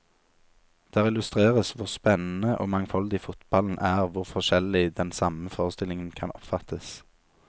Der illustreres hvor spennende og mangfoldig fotballen er, hvor forskjellig den samme forestillingen kan oppfattes.